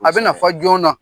A bɛna fɔ joona